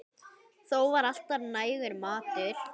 Þó var alltaf nægur matur.